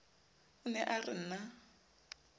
o ne o re na